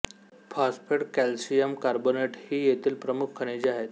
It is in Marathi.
फॅास्फेट कॅल्शियम कार्बोनेट ही येथील प्रमुख खनिजे आहेत